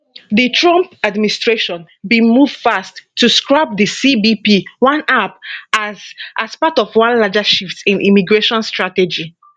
di trump administration bin move fast to scrap di cbp one app as as part of one larger shift in immigration strategy